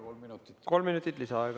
Kolm minutit lisaaega!